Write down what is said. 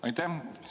Aitäh!